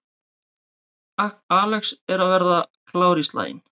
Alex að verða klár í slaginn